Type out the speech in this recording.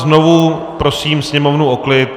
Znovu prosím sněmovnu o klid.